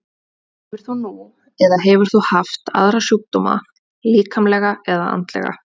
Hefur þú nú eða hefur þú haft aðra sjúkdóma, líkamlega eða andlega?